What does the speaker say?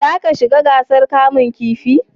za ka shiga gasar kamun kifi?